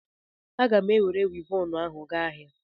A gam enwere Wivọnụ ahu gaa ahia